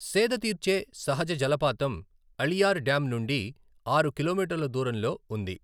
సేదతీర్చే సహజ జలపాతం అళియార్ డ్యామ్ నుండి ఆరు కిలోమీటర్ల దూరంలో ఉంది.